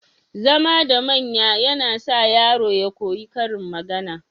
Zama da manya yAna sa yaro ya koyi karin magAna